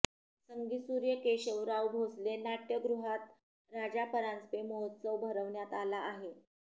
संगीतसूर्य केशवराव भोसले नाटय़गृहात राजा परांजपे महोत्सव भरवण्यात आला आहे